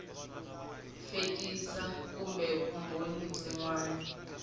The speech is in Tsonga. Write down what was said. fekisi kumbe vumbhoni byin wana